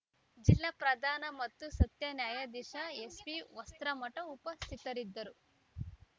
ಜಿಲ್ಲಾ ಪ್ರಧಾನ ಮತ್ತು ಸತ್ಯ ನ್ಯಾಯಾಧೀಶ ಎಸ್‌ಬಿ ವಸ್ತ್ರಮಠ ಉಪಸ್ಥಿತರಿದ್ದರು